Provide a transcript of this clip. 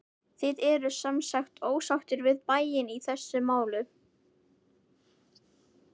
Þið eruð semsagt ósáttir við bæinn í þessu máli?